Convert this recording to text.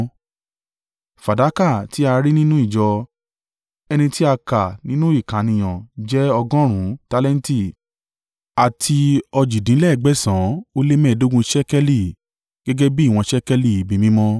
Fàdákà tí a rí nínú ìjọ, ẹni tí a kà nínú ìkànìyàn jẹ́ ọgọ́rùn-ún tálẹ́ǹtì àti òjìdínlẹ́gbẹ̀san ó lé mẹ́ẹ̀ẹ́dógún (1,775) ṣékélì, gẹ́gẹ́ bí ìwọ̀n ṣékélì ibi mímọ́,